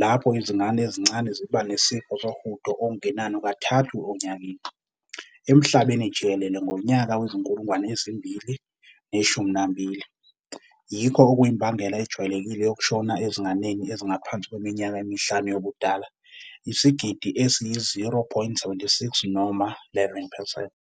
lapho izingane ezincane ziba nesifo sohudo okungenani kathathu onyakeni. Emhlabeni jikelele, ngonyaka wezi-2012, yikho okuyimbangela ejwayelekile yokushona ezinganeni ezingaphansi kweminyaka emihlanu yobudala, isigidi esiyi-0.76 noma 11.